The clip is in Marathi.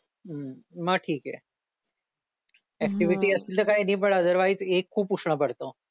हम्म मग ठीक आहे ऍक्टिव्हिटी असतील तर काही नाही पण अदरवाईज एग्ज खूप उष्ण पडत